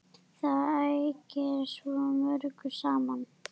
Það ægir svo mörgu saman.